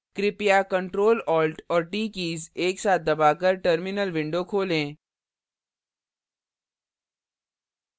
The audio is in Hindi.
कृपया ctrl alt और t कीज़ एक साथ दबाकर terminal window खोलें